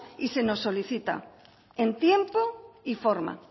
y se nos solicita en tiempo y forma